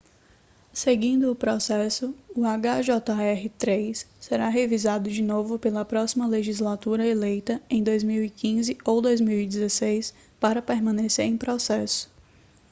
seguindo o processo o hjr-3 será revisado de novo pela próxima legislatura eleita em 2015 ou 2016 para permanecer em processo